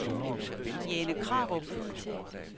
Jane Krarup